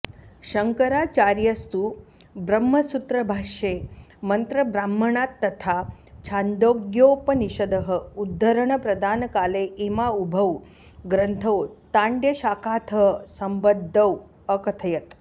शङ्कराचार्यस्तु ब्रह्मसूत्रभाष्ये मन्त्रब्राह्मणात्तथा छान्दोग्योपनिषदः उद्धरणप्रदानकाले इमावुभौ ग्रन्थौ ताण्ड्यशाखातः सम्बद्धौ अकथयत्